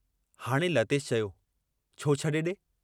हाणे लतेश चयो, छो छॾे ॾे?